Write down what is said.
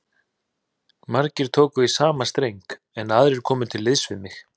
Margir tóku í sama streng, en aðrir komu til liðs við